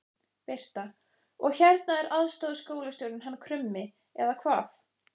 Birta: Og hérna er aðstoðarskólastjórinn hann Krummi eða hvað?